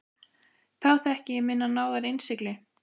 Þá þekki ég minnar náðar innsigli.